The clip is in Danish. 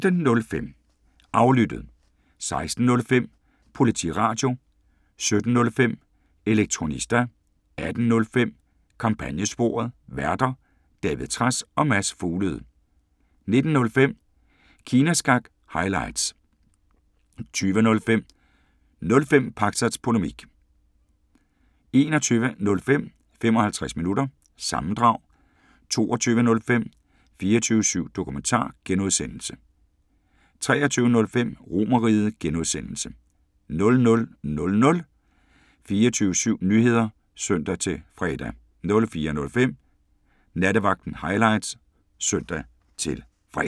15:05: Aflyttet 16:05: Politiradio 17:05: Elektronista 18:05: Kampagnesporet: Værter: David Trads og Mads Fuglede 19:05: Kina Snak – highlights 20:05: 05 Pakzads Polemik 21:05: 55 Minutter – sammendrag 22:05: 24syv Dokumentar (G) 23:05: RomerRiget (G) 00:00: 24syv Nyheder (søn-fre)